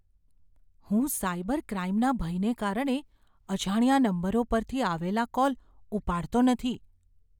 હું સાયબર ક્રાઇમના ભયને કારણે અજાણ્યા નંબરો પરથી આવેલા કોલ ઉપાડતો નથી.